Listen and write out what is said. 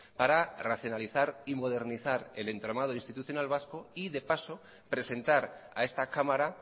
para racionalizar y modernizar el entramado institucional vasco y de paso presentar a esta cámara